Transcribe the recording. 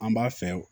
An b'a fɛ